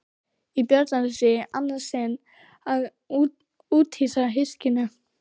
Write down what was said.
Í Bjarnanes í annað sinn að úthýsa hyskinu.